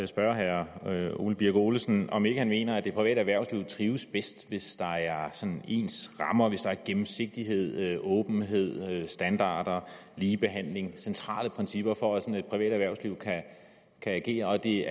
spørge herre ole birk olesen om ikke han mener at det private erhvervsliv trives bedst hvis der er ens rammer hvis der er gennemsigtighed åbenhed standarder ligebehandling centrale principper for at et privat erhvervsliv kan agere og at det